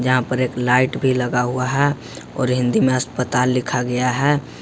यहां पर एक लाइट भी लगा हुआ है और हिंदी में अस्पताल लिखा गया है।